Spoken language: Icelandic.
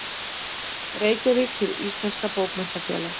Reykjavík: Hið íslenska Bókmenntafélag.